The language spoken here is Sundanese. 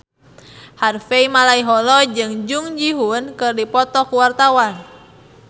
Harvey Malaiholo jeung Jung Ji Hoon keur dipoto ku wartawan